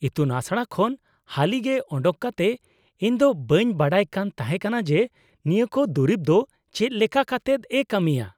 -ᱤᱛᱩᱱ ᱟᱥᱲᱟ ᱠᱷᱚᱱ ᱦᱟᱹᱞᱤᱜᱮ ᱚᱰᱚᱠ ᱠᱟᱛᱮ ᱤᱧ ᱫᱚ ᱵᱟᱹᱧ ᱵᱟᱰᱟᱭ ᱠᱟᱱ ᱛᱟᱦᱮᱸ ᱠᱟᱱᱟ ᱡᱮ ᱱᱤᱭᱟᱹ ᱠᱚ ᱫᱩᱨᱤᱵ ᱫᱚ ᱪᱮᱫ ᱞᱮᱠᱟ ᱠᱟᱛᱮᱫ ᱮᱹ ᱠᱟᱹᱢᱤᱭᱟ ᱾